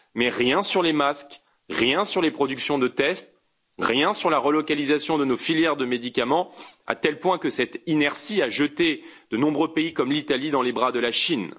Mais rien sur les masques, rien sur les productions de tests, rien sur la relocalisation de nos filières de médicaments, à tel point que cette inertie a jeté de nombreux pays, comme l'Italie, dans les bras de la Chine.